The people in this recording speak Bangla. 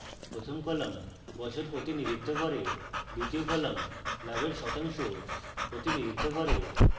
প্রথম column বছর প্রতিনিধিত্ব করে দ্বিতীয় column লাভের শতাংশ প্রতিনিধিত্ব করে